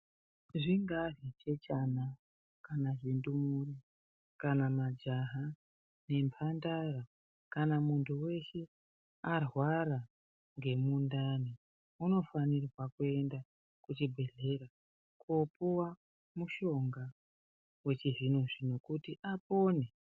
Zvingaa zvichechana, kana zvindumure, kana majaha nemphandara, kana muntu weshe arwara ngemundani, unofanirwa kuenda kuchibhedhlera, koopuwa mushonga wechizvino-zvino ,kuti apone.